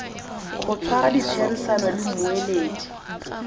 go tshwara ditherisano le mmueledi